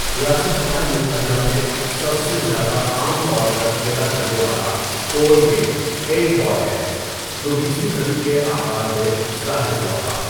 ریاستہائے متحدہ میں، سب سے زیادہ عام طور پر کھیلا جانے والا پول گیم ایٹ بال ہے، جو بیسویں صدی کے آغاز میں ظاہر ہوا تھا۔